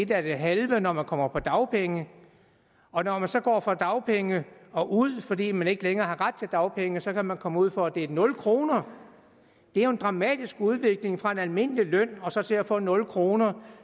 er det halve når man kommer på dagpenge og når man så går fra dagpenge og ud fordi man ikke længere har ret til dagpenge så kan man komme ud for at det er nul kroner det er jo en dramatisk udvikling fra en almindelig løn og så til at få nul kroner